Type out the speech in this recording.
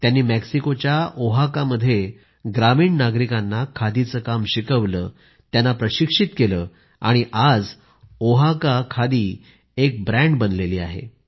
त्यांनी मेक्सिकोच्या ओहाकामध्ये ग्रामीण नागरिकांना खादीचं काम शिकवलं त्यांना प्रशिक्षित केलं आणि आज ओहाका खादी एक ब्रँड बनली आहे